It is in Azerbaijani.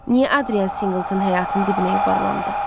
Niyə Adrian Singleton həyatın dibinə yuvarlandı?